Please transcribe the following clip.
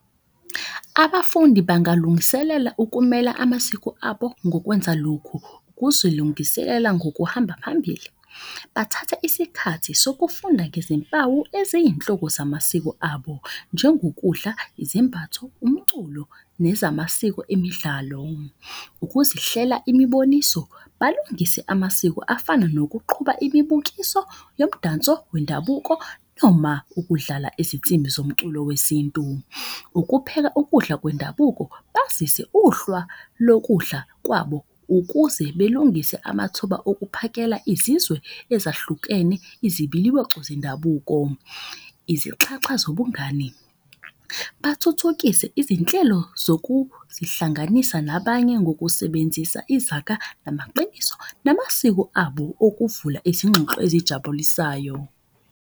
Abafundi bangalungiselela ukumela amasiko abo ngokwenza lokhu. Kuzilungiselela ngokuhamba phambili, bathatha isikhathi sokufunda ngezimpawu eziyinhloko zamasiko abo. Njengokudla, izembatho, umculo nezamasiko emidlalo, ukuzihlela imiboniso. Balungise amasiko afana nokuqhuba imibukiso yomdanso wendabuko noma ukudlala izinsimbi zomculo wesintu. Ukupheka ukudla kwendabuko bazise uhlwa lokudla kwabo. Ukuze belungise amathuba okuphakela izizwe ezahlukene izibiliboco zendabuko. Izixhaxha zobungani, bathuthuke izinhlelo zokuzihlanganisa nabanye ngokusebenzisa izaga. Namaqiniso, namasiko abo okuvula izingxoxo ezijabulisayo.